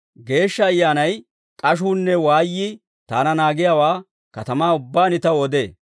Geeshsha Ayyaanay k'ashuunne waayyii taana naagiyaawaa katamaa ubbaan taw odee.